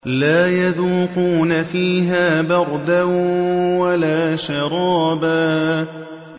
لَّا يَذُوقُونَ فِيهَا بَرْدًا وَلَا شَرَابًا